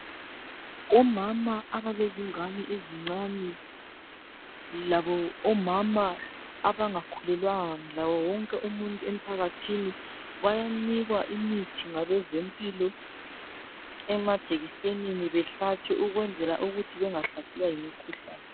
Omama abalezingane ezincane labo omama abangakhulelwanga laye wonke umuntu emphakathini bayanikwa imithi ngabezempilo emajekisenini behlatshwe ukwenzela ukuthi bengahlaselwa yimikhuhlane.